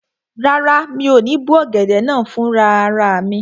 Rárá, mi ò ní bó ọ̀gẹ̀dẹ̀ náà fún rara mi